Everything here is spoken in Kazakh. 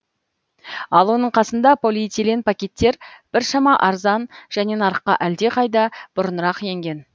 ал оның қасында полиэтилен пакеттер біршама арзан және нарыққа әлдеқайда бұрынырақ енген